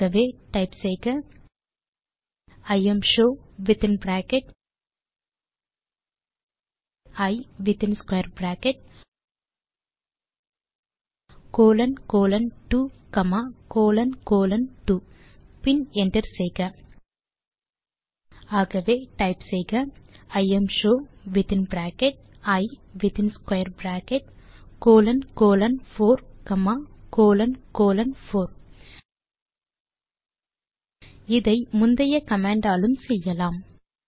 ஆகவே டைப் செய்க imshow within bracket இ within square bracket colon colon 2 comma colon colon 2 பின் என்டர் செய்க ஆகவே டைப் செய்க இம்ஷோ வித்தின் பிராக்கெட் இ within square bracket colon colon 4 comma colon colon 4 இதை முந்தைய கமாண்ட் ஆலும் செய்யலாம்